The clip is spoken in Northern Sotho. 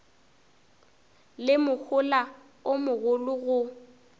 le mohola o mogolo go